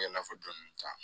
I n'a fɔ dɔni ta